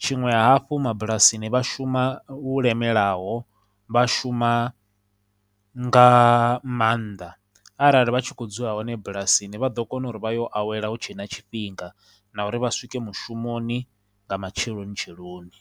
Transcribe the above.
tshiṅwe hafhu mabulasini vha shuma lu lemelaho, vha shuma nga maanḓa arali vha tshi khou dzula hone bulasini vha ḓo kona uri vha yo awela hu tshe na tshifhinga, na uri vha swike mushumoni nga matshelonitsheloni.